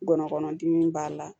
Ngɔnɔkɔnɔ dimi b'a la